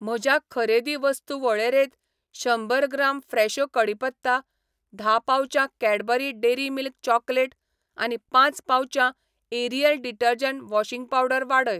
म्हज्या खरेदी वस्तू वळेरेंत शंबर ग्राम फ्रेशो कढीपत्ता, धा पाउचां कैडबरी डेअरी मिल्क चॉकलेट आनी पांच पाउचां एरियल डिटर्जंट वॉशिंग पावडर वाडय.